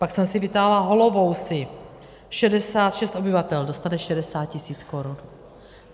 Pak jsem si vytáhla Holovousy, 66 obyvatel, dostane 60 000 korun.